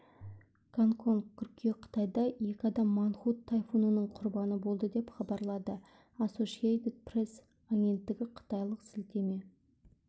гонконг қыркүйек қытайда екі адам мангхут тайфунының құрбаны болды деп хабарлады ассошиэйтед пресс агенттігі қытайлық сілтеме